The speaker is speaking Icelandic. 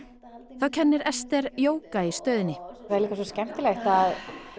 þá kennir Esther jóga í stöðinni skemmtilegt að